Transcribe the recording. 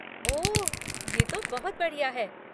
ओह, ये तो बहुत बढ़िया है।